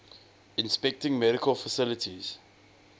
inspecting medical facilities